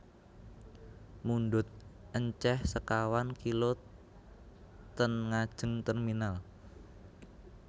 Mundhut enceh sekawan kilo ten ngajeng terminal